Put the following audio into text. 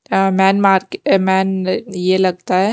अ main market मैन यह लगता है।